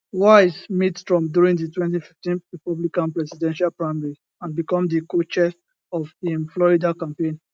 wiles meet trump during di 2015 republican presidential primary and become di cochair of im florida campaign